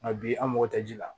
Nka bi an mago tɛ ji la